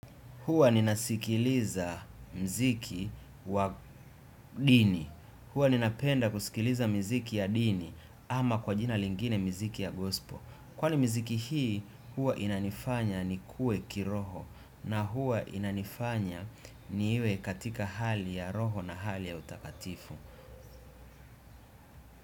Hua ninasikiliza mziki wa dini. Hua ninapenda kusikiliza miziki ya dini ama kwa jina lingine miziki ya gospel. Kwa ni mziki hii, hua inanifanya ni kue kiroho na hua inanifanya ni iwe katika hali ya roho na hali ya utakatifu.